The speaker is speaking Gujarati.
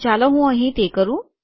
તો ચાલો હું તે અહીં કરું